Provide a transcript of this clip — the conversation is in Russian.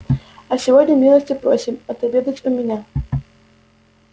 а сегодня милости просим отобедать у меня